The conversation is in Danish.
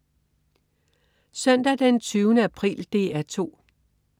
Søndag den 20. april - DR 2: